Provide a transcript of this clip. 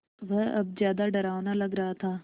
वह अब ज़्यादा डरावना लग रहा था